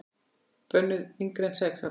Bönnuð yngri en sex ára.